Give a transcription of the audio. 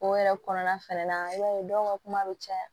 O yɛrɛ kɔnɔna fɛnɛ na i b'a ye dɔw ka kuma bɛ caya